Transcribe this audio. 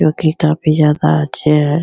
जो की काफी ज्यादा अच्छे हैं।